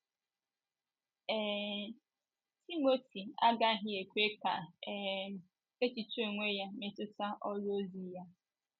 um Timoti agaghị ekwe ka um echiche onwe ya metụta ọrụ ozi ya.